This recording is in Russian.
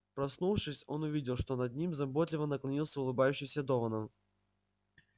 проснувшись он увидел что над ним заботливо наклонился улыбающийся донован